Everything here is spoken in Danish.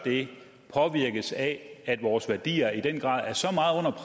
det påvirkes af at vores værdier i den grad er så